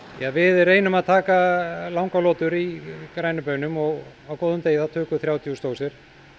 við reynum að taka langar lotur í grænum baunum og á góðum degi þá tökum við þrjátíu þúsund dósir